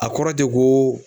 A kɔrɔ te koo